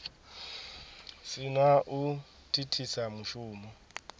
si na u thithisa mushumo